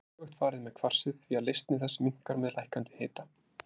Þessu er öfugt farið með kvarsið því að leysni þess minnkar með lækkandi hita.